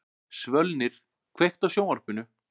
Svölnir, kveiktu á sjónvarpinu.